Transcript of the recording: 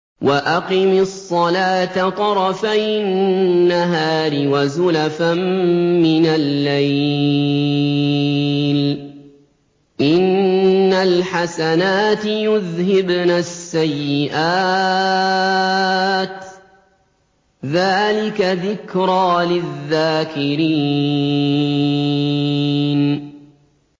وَأَقِمِ الصَّلَاةَ طَرَفَيِ النَّهَارِ وَزُلَفًا مِّنَ اللَّيْلِ ۚ إِنَّ الْحَسَنَاتِ يُذْهِبْنَ السَّيِّئَاتِ ۚ ذَٰلِكَ ذِكْرَىٰ لِلذَّاكِرِينَ